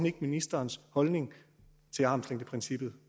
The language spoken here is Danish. ikke ministerens holdning til armslængdeprincippet